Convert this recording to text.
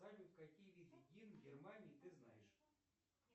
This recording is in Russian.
салют какие виды гимн германии ты знаешь